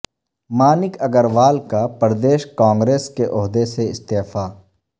مانک اگروال کا پردیش کانگریس کے عہدے سے استعفی